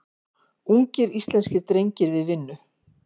Ungir íslenskir drengir við vinnu.